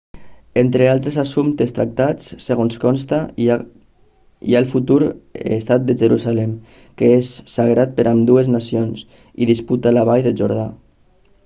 entre els altres assumptes tractats segons consta hi ha el futur estat de jerusalem que és sagrat per a ambdues nacions i la disputa de la vall del jordà